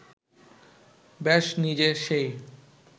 ব্যাস নিজে সেই